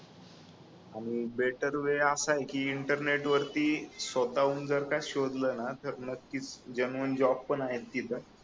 आणि better way असाय की इंटरनेट वरती स्वतः हून जर का शोधल ना की तर नक्कीच जेनुइन जॉब पण आहेत तिथं